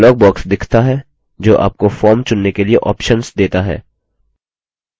एक dialog box दिखता है जो आपको फॉर्म चुनने के लिए options देता है